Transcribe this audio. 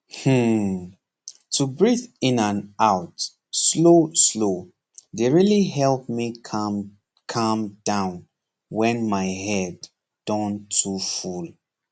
hmm to breathe in and out slowslow dey really help me calm calm down when my head don too full